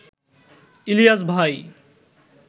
ইলিয়াস ভাই